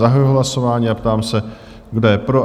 Zahajuji hlasování a ptám se, kdo je pro?